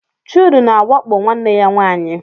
Chude na-awakpo nwanne ya nwanyị